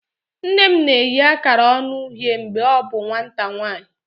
Nne m na-eyi akara ọñu uhie mgbe ọ bụ nwata nwanyị.